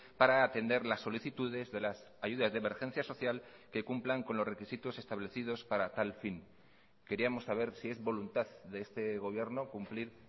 para atender las solicitudes de las ayudas de emergencia social que cumplan con los requisitos establecidos para tal fin queríamos saber si es voluntad de este gobierno cumplir